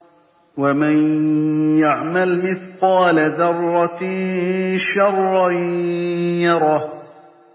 وَمَن يَعْمَلْ مِثْقَالَ ذَرَّةٍ شَرًّا يَرَهُ